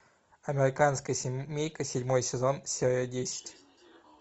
американская семейка седьмой сезон серия десять